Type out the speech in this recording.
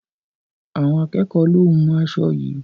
Àwọn akẹ́ẹ̀kọ lo hún aṣo yií.